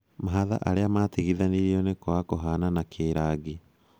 Mahatha arĩa matigithanirio nĩ kwaga kûhanana kĩrangi